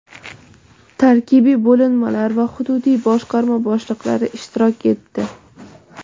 tarkibiy bo‘linmalar va hududiy boshqarma boshliqlari ishtirok etdi.